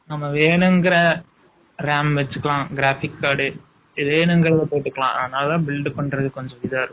1 . எழுபத்தி அஞ்சு ரூபாய்க்குள்ள வரும். ஆ, நம்ம வேணுங்கற ram வச்சுக்கலாம், graphic card , போட்டுக்கலாம். அதனாலதான், build பண்றது, கொஞ்சம் இதா இருக்கும்